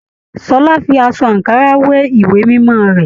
Ṣọlá fí aṣọ ankara we ìwé mímọ rẹ.